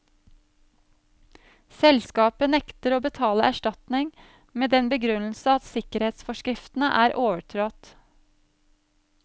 Selskapet nekter å betale erstatning med den begrunnelse at sikkerhetsforskriftene er overtrådt.